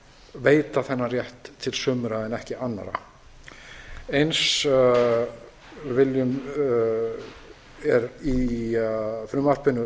veita þennan rétt til sumra en ekki annarra eins er í frumvarpinu